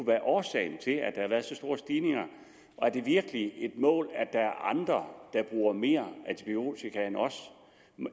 været årsagen til at der har været så store stigninger og er det virkelig et mål at der er andre der bruger mere antibiotika end os